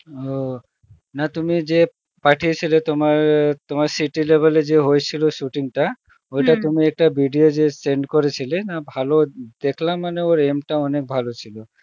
ও না তুমি যে পাঠিয়েছিলে তোমার city level এ যে হয়েছিল shooting টা তুমি একটা video যে send করেছিলে না ভালো দেখলাম মানে ওর aim টা অনেক ভালো ছিল